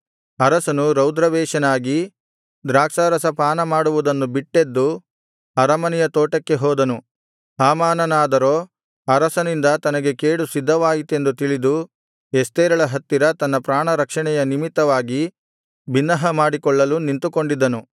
ಅರಸನು ರೌದ್ರಾವೇಶನಾಗಿ ದ್ರಾಕ್ಷಾರಸ ಪಾನಮಾಡುವುದನ್ನು ಬಿಟ್ಟೆದ್ದು ಅರಮನೆಯ ತೋಟಕ್ಕೆ ಹೋದನು ಹಾಮಾನನಾದರೋ ಅರಸನಿಂದ ತನಗೆ ಕೇಡು ಸಿದ್ಧವಾಯಿತೆಂದು ತಿಳಿದು ಎಸ್ತೇರಳ ಹತ್ತಿರ ತನ್ನ ಪ್ರಾಣರಕ್ಷಣೆಯ ನಿಮಿತ್ತವಾಗಿ ಬಿನ್ನಹಮಾಡಿಕೊಳ್ಳಲು ನಿಂತುಕೊಂಡಿದ್ದನು